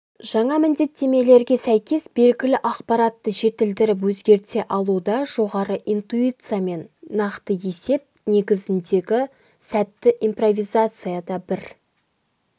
жаңа міндеттерге сәйкес белгілі ақпаратты жетілдіріп өзгерте алуда жоғары интиуциямен нақты есеп негізіндегі сәтті импровизацияда бір